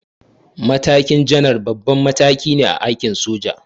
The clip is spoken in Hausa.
Matakin janar babban mataki ne a aikin soja.